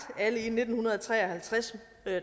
alle i nitten tre og halvtreds